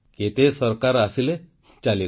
କେତେ ସରକାର ଆସିଲେ ଚାଲିଗଲେ